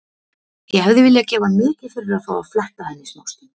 Ég hefði viljað gefa mikið fyrir að fá að fletta henni smástund.